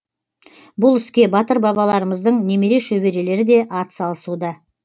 бұл іске батыр бабаларымыздың немере шөберелері де атсалысуда